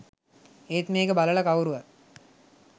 ඒත් මේක බලලා කවුරුවත්